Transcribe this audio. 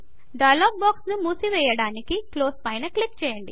dialog box ను మూసి వెయ్యడానికి క్లోజ్ పైన క్లిక్ చేయండి